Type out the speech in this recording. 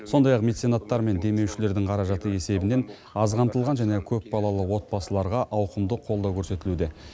сондай ақ меценаттар мен демеушілердің қаражаты есебінен аз қамтылған және көпбалалы отбасыларға ауқымды қолдау көрсетілуде